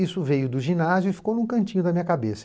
Isso veio do ginásio e ficou num cantinho da minha cabeça.